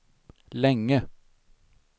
länge